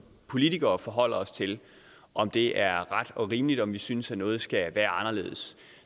politikere forholder os til om det er ret og rimeligt og om vi synes at noget skal være anderledes